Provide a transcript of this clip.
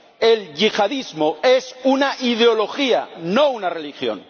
El yihadismo es una ideología, no una religión.